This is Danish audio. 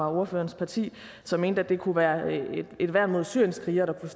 ordførerens parti som mente at det kunne være et værn mod syrienskrigere der kunne